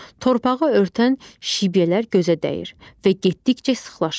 Torpağı örtən şibyələr gözə dəyir və getdikcə sıxlaşır.